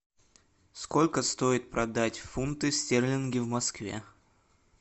сколько стоит продать фунты стерлинги в москве